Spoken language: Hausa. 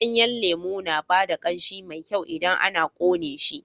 Ganyen lemu na ba da ƙanshi mai kyau idan ana ƙone shi.